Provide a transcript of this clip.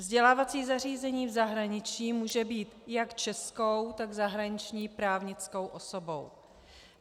Vzdělávací zařízení v zahraničí může být jak českou, tak zahraniční právnickou osobou.